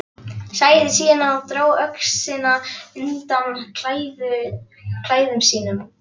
Sagði síðan og dró öxina undan klæðum sínum